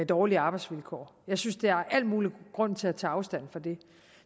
dårlige arbejdsvilkår jeg synes der er al mulig grund til at tage afstand fra det